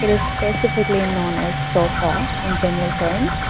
this specifically known as sofa in general terms.